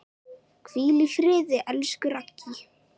Hvíl í friði, elsku Raggý.